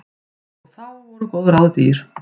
Og þá voru góð ráð dýr.